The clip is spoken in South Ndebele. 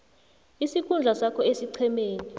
isikhundla sakho esiqhemeni